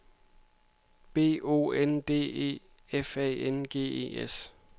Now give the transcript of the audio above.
B O N D E F A N G E S